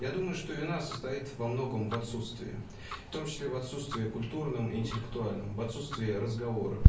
я думаю что вина состоит во многом в отсутствии в том числе в отсутствии культурном интеллектуальном в отсутствии разговора